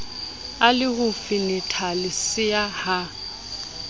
e le ho fenethalesea ha